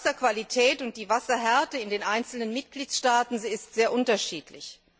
Aber die Wasserqualität und die Wasserhärte in den einzelnen Mitgliedstaaten sind sehr unterschiedlich.